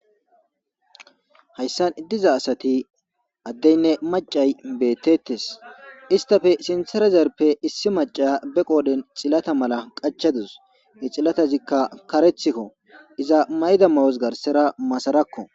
Haysan diza asati adeynne macay betetes, istaple sinthara dizayappe issi Naya be qoodhen xilata mala qachadus , iza mayida mayozi garsera masarako